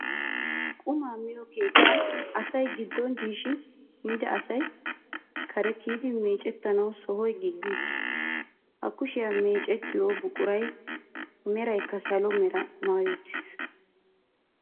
Qumaa miyo keettan asay giddon diishin miida asay kare kiiyidi meecettanawu sohoy giigi uttiis. Ha kushiya meecettiyo buquray meraykka salo meraa maayi uttiis.